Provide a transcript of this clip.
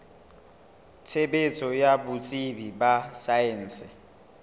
tshebetso ya botsebi ba saense